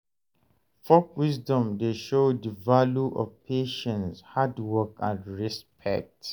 Folk wisdom dey show de value of patience, hard work, and respect.